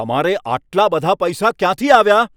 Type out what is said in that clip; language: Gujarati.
તમારે આટલા બધા પૈસા ક્યાંથી આવ્યા?